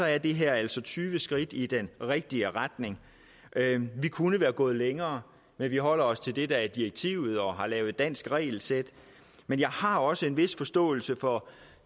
er det her altså tyve skridt i den rigtige retning vi kunne være gået længere men vi holder os til det der er direktivet og har lavet et dansk regelsæt men jeg har også en vis forståelse for